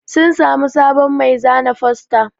Sun samu sabon mai zana fosta